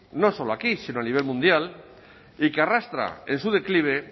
no solo aquí sino a nivel mundial y que arrastra en su declive